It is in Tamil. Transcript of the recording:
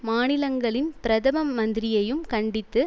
மாநிலங்களின் பிரதம மந்திரியையும் கண்டித்து